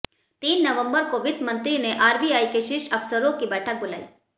तीन नवंबर को वित्त मंत्री ने आरबीआई के शीर्ष अफसरों की बैठक बुलाई